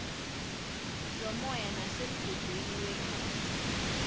zomoya nasemgudwini wegazi